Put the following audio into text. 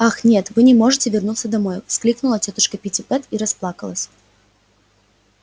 ах нет вы не можете вернуться домой воскликнула тётушка питтипэт и расплакалась